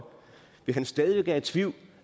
hvis han stadig væk er i tvivl